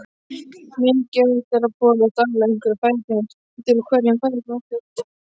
Mikilvægt er að borða daglega einhverjar fæðutegundir úr hverjum fæðuflokki.